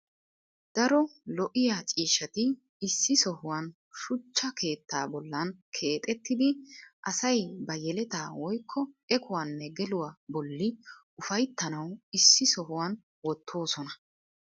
daro lo'iya ciishshati issi sohuwan shuchcha keettaa bollan keexettidi asay ba yelettaa woykko ekkuwanne geluwa bolli ufayttanawu issi sohuwan wottoosona.